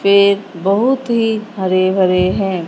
ये बहुत ही हरे हरे हैं।